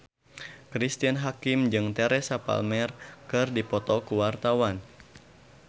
Cristine Hakim jeung Teresa Palmer keur dipoto ku wartawan